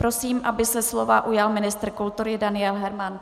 Prosím, aby se slova ujal ministr kultury Daniel Herman.